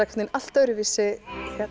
allt öðruvísi